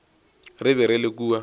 re be re le kua